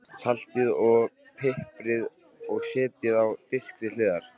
Saltið og piprið og setjið á disk til hliðar.